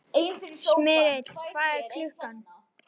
Smyrill, hvað er klukkan?